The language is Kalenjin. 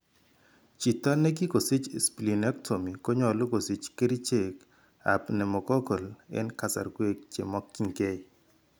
Chiito nekikosich spelenectomy konyolu kosich kercheek ab pneumoccal eng' kasarwek chekimakyinkee